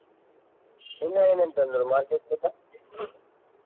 ಇನ್ನ ಏನೇನ್ ತಂದ್ರಿ market ನಿಂದ.